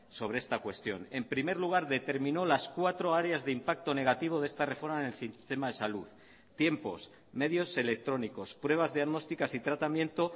sobre esta cuestión en primer lugar determinó las cuatro áreas de impacto negativo de esta reforma en el sistema de salud tiempos medios electrónicos pruebas diagnósticas y tratamiento